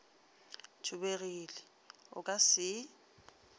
thubegile o ka se e